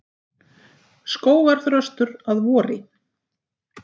Skógarþröstur að vori.